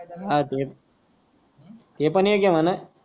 हा ते ते पण इक आहे म्हणा.